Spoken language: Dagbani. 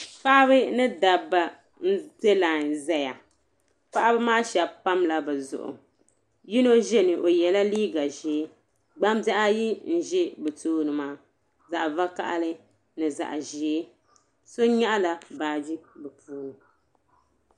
Paɣiba ni dabba m-be lain zaya. Paɣiba maa shɛba pamla bɛ zuɣu. Yino za ni o yɛla liiga ʒee. Gbambihi ayi m-be bɛ tooni maa zaɣ' vakahili ni zaɣ' ʒee. So nyaɣila baaji bɛ puuni.